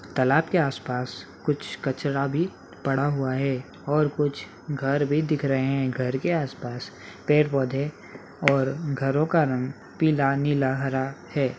तालाब के आसपास कुछ कचरा भी पड़ा हुआ है और कुछ घर भी दिख रहे हैं घर के आसपास पेड़ पौधे और घरों का रंग पीला नीला हरा है।